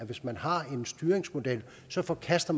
hvis man har en styringsmodel så forkaster